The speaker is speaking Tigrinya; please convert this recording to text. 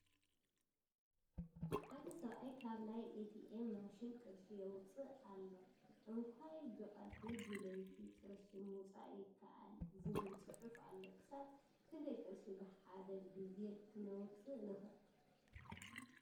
ሓደ ሰብአይ ካብ ናይ ኤ ት ኤም ማሺን ቅርሺ ይውፅእ ኣሎ ። ኣንካይ ብ ቀትሪ ብ ልይቲ ቕርሺ ምውፃእ ይከአል ዝብል ፅሑፍ ኣሎ ። ክሳብ ክንደይ ቅርሺ ብ ሓደ ግዜ ክነውፅእ ንክእል ?